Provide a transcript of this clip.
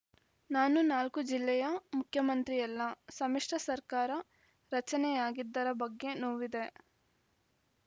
ನಾನು ನಾಲ್ಕು ಜಿಲ್ಲೆಯ ಮುಖ್ಯಮಂತ್ರಿಯಲ್ಲ ಸಮ್ಮಿಶ್ರ ಸರ್ಕಾರ ರಚನೆಯಾಗಿದ್ದರ ಬಗ್ಗೆ ನೋವಿದೆ